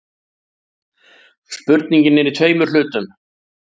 Spurningin er í tveimur hlutum.